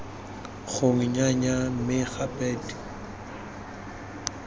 gongwe nnyaya mme gape d